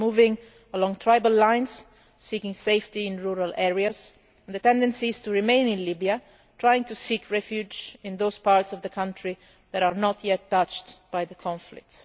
They are moving along tribal lines, seeking safety in rural areas and the tendency is to remain in Libya, trying to seek refuge in those parts of the country that are not yet touched by the conflict.